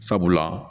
Sabula